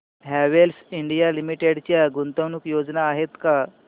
Havells India limited च्या गुंतवणूक योजना आहेत का